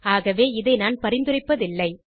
ஆகவே இதை நான் பரிந்துரைப்பதில்லை